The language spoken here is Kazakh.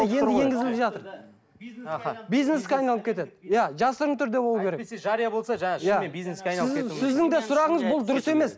енді енгізіліп жатыр бизнеске айналып кетеді иә жасырын түрде болу керек әйтпесе жария болса жаңа шынымен бизнеске сіздің де сұрағыңыз бұл дұрыс емес